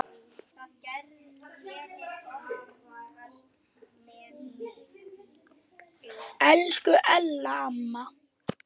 Elsku Ella amma.